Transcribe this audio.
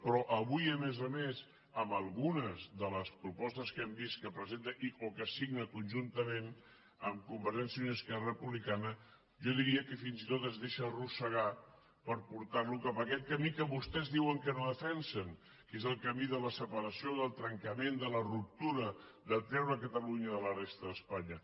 però avui a més a més amb algunes de les propostes que hem vist que presenta o que signa conjuntament amb con·vergència i unió i esquerra republicana jo diria que fins i tot es deixa arrossegar per portar·lo cap a aquest camí que vostès diuen que no defensen que és el ca·mí de la separació del trencament de la ruptura de treure catalunya de la resta d’espanya